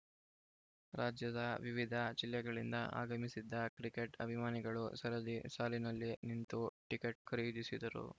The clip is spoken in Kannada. ರಾಜ್ಯದ ವಿವಿಧ ಜಿಲ್ಲೆಗಳಿಂದ ಆಗಮಿಸಿದ್ದ ಕ್ರಿಕೆಟ್‌ ಅಭಿಮಾನಿಗಳು ಸರದಿ ಸಾಲಿನಲ್ಲಿ ನಿಂತು ಟಿಕೆಟ್‌ ಖರೀದಿಸಿದರು